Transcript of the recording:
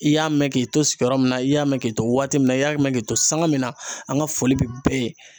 I y'a mɛn k'i to sigiyɔrɔ min na, i y'a mɛn k'i to waati min na ,i y'a mɛn k'i to sanga min na ,an ka foli bɛ bɛɛ ye.